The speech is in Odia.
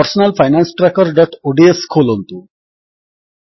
personal finance trackerଓଡିଏସ ଖୋଲନ୍ତୁ